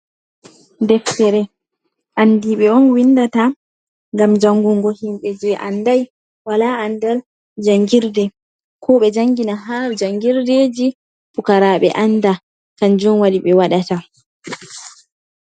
Deftere andi ɓe on windata ngam jangungo himɓe je andai wala andal jangirde, koɓe jangina ha jangirdeji pukaraɓe anda, kanjum waɗi ɓe waɗata.